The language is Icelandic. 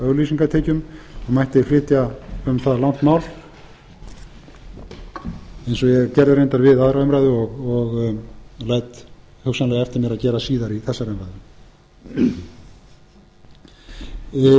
auglýsingatekjum mætti flytja um það langt mál eins og ég gerði reyndar við aðra umræðu og læt hugsanlega eftir mér að gera síðar í þessari umræðu af breytilegum auglýsingatekjum og mætti flytja um það langt mál eins og ég gerði reyndar